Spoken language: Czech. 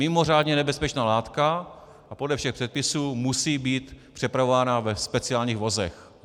Mimořádně nebezpečná látka a podle všech předpisů musí být přepravována ve speciálních vozech.